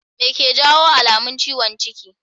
Me ke jawo alamun ciwon ciki?